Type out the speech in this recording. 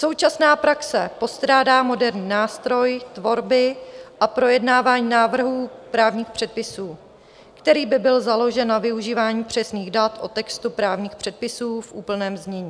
Současná praxe postrádá moderní nástroj tvorby a projednávání návrhů právních předpisů, který by byl založen na využívání přesných dat o textu právních předpisů v úplném znění.